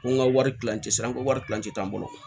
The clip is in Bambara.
Ko n ka wari kilancɛ sira n ko wari kilancɛ tɛ an bolo